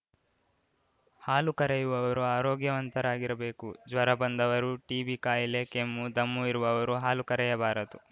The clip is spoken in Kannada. ಹಾಲು ಕರೆಯುವವರು ಆರೋಗ್ಯವಂತರಾಗಿರಬೇಕು ಜ್ವರ ಬಂದವರು ಟಿಬಿ ಕಾಯಿಲೆ ಕೆಮ್ಮು ದಮ್ಮು ಇರುವವರು ಹಾಲು ಕರೆಯಬಾರದು